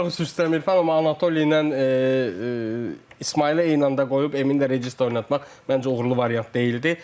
Üzr istəyirəm Mirfan, amma Anatoli ilə İsmaili eyni anda qoyub Emin də rejissor oynatmaq məncə uğurlu variant deyildi.